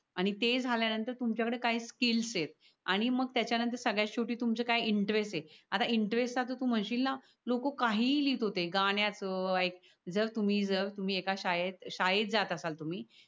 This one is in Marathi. आणि ते झाल्या नंतर तुमच्या कढे काय स्किल्स येत आणि मग त्याच्या नंतर सगळ्यात शेवटी तुमचा काय इंटरेस्ट ये आता इंटरेस्ट च आता तू म्हन्शीन ना लोक काहीही लिहित होते गाण्याच जर तुम्ही जर तुम्ही एका शाळेत शाळेत जात असल तुम्ही